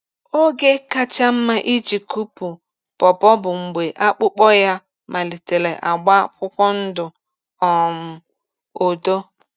Oge kacha mma iji kụpu pawpaw bụ mgbe akpụkpọ ya malitere agba akwụkwọ ndụ um odo.